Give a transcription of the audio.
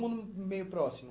mundo meio próximo.